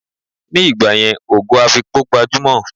Ni ìgbàyẹn, Ògo Afikpo gbajúmò